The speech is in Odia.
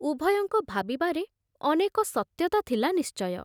ଉଭୟଙ୍କ ଭାବିବାରେ ଅନେକ ସତ୍ୟତା ଥିଲା ନିଶ୍ଚୟ।